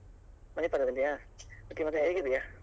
Manipal ದಲ್ಲಿಯ okay ಮತ್ತೆ ಹೇಗಿದ್ದೀಯಾ?